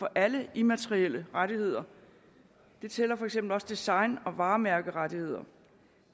alle immaterielle rettigheder det gælder for eksempel også design og varemærkerettigheder